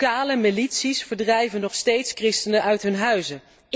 Lokale milities verdrijven nog steeds christenen uit hun huizen.